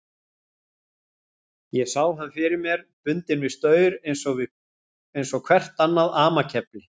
Ég sá hann fyrir mér, bundinn við staur eins og hvert annað amakefli.